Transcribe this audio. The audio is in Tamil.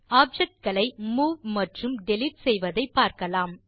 ஆப்ஜெக்ட் களை மூவ் மற்றும் டிலீட் செய்வதை பார்க்கலாம்